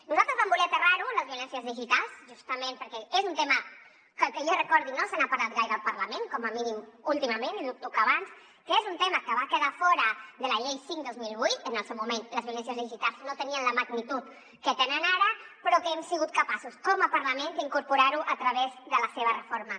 nosaltres vam voler aterrar ho en les violències digitals justament perquè és un tema que que jo recordi no se n’ha parlat gaire al parlament com a mínim últimament i dubto que abans que és un tema que va quedar fora de la llei cinc dos mil vuit en el seu moment les violències digitals no tenien la magnitud que tenen ara però que hem sigut capaços com a parlament d’incorporar ho a través de la seva reforma